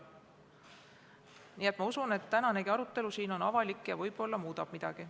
Aga ma usun, et tänane arutelu siin on avalik ja võib-olla muudab midagi.